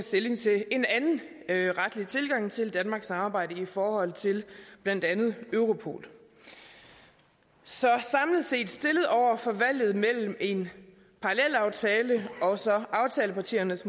stilling til en anden retlig tilgang til danmarks samarbejde i forhold til blandt andet europol så stillet over for valget mellem en parallelaftale og så aftalepartiernes